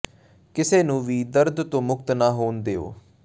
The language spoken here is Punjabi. ਕਿਸੇ ਨੂੰ ਵੀ ਦਰਦ ਤੋਂ ਮੁਕਤ ਨਾ ਹੋਣ ਦਿਓ